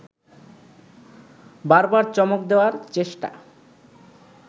বারবার চমক দেওয়ার চেষ্টা